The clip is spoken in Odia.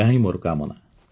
ଏହାହିଁ ମୋର କାମନା